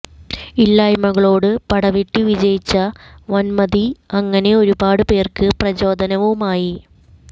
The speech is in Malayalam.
ഇല്ലായ്മകളോട് പടവെട്ടി വിജയിച്ച വന്മതി അങ്ങനെ ഒരുപാടു പേര്ക്ക് പ്രചോദനവുമായി